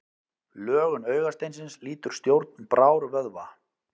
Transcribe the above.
Lögun augasteinsins lýtur stjórn brárvöðva.